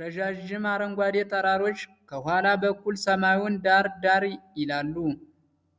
ረዣዥም አረንጓዴ ተራሮች ከኋላ በኩል ሰማዩን ዳር ዳር ይላሉ።